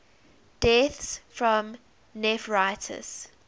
deaths from nephritis